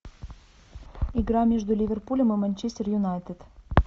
игра между ливерпулем и манчестер юнайтед